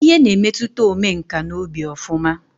Ịhe na-emetụta omenkà n'obi ọfụma